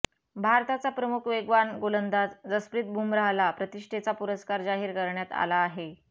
भारताचा प्रमुख वेगवान गोलंदाज जसप्रीत बुमराहला प्रतिष्ठेचा पुरस्कार जाहीर करण्यात आला आहे